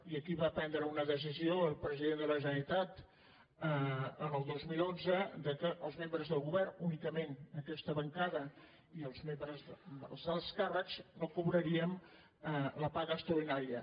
i aquí va prendre una decisió el president de la generalitat en el dos mil onze que els membres del govern únicament aquesta bancada i els alts càrrecs no cobraríem la paga extraordinària